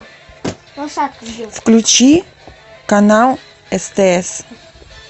включи канал стс